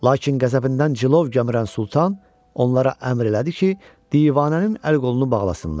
Lakin qəzəbindən cilov gəmirən Sultan onlara əmr elədi ki, divanənin əl-qolunu bağlasınlar.